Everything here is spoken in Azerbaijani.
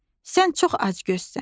Sən çox acgözsən.